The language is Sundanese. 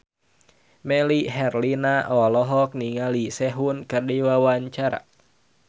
Melly Herlina olohok ningali Sehun keur diwawancara